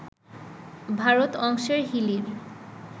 ভারত অংশের হিলির